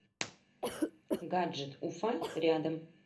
гаджет уфа рядом